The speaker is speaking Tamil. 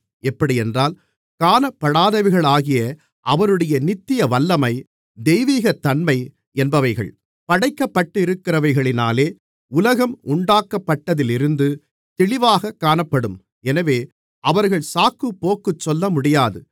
எப்படியென்றால் காணப்படாதவைகளாகிய அவருடைய நித்திய வல்லமை தெய்வீகத்தன்மை என்பவைகள் படைக்கப்பட்டிருக்கிறவைகளினாலே உலகம் உண்டாக்கப்பட்டதிலிருந்து தெளிவாகக் காணப்படும் எனவே அவர்கள் சாக்குப்போக்குச் சொல்லமுடியாது